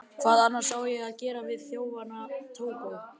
Hvað annars á ég að gera við þjóðfána Tógó?